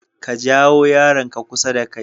Ka jawo yaranka kusa da kai.